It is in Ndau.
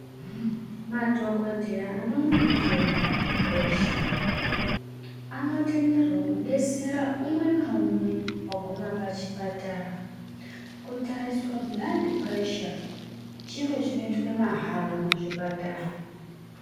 Madhokoteya anoona nezvei bhuladhi puresha anotenderwa kudetsera umwe naumwe aguma pachipatara kutariswa bhuladhi puresha chiro chinoitwa mahara muzvipatara.